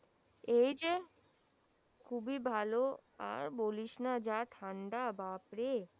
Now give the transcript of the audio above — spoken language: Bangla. এই যে খুবি ভালো আর বলিস না যা ঠান্ডা বাপরে